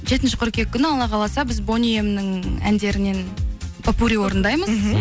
жетінші қыркүйек күні алла қаласа біз бони эмнің әндерінен поппури орындаймыз